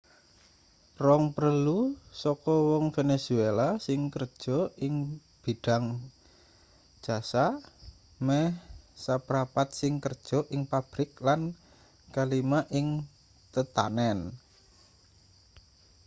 rong prelu saka wong venezuela sing kerja ing bidhang jasa meh saprapat sing kerja ing pabrik lan kalima ing tetanen